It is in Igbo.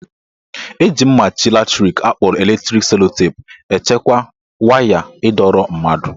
Eji ihe mmachi latrik akpọrọ electric sellotape echekwa waya ịdọrọ mmadụ